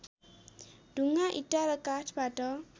ढुङ्गा इँटा र काठबाट